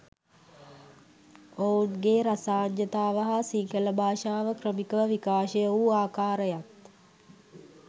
ඔවුන්ගේ රසාඥතාව හා සිංහල භාෂාව ක්‍රමිකව විකාශය වූ ආකාරයත්